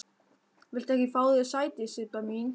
Viltu ekki fá þér sæti, Sibba mín?